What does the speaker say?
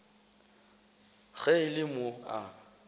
ge e le mo a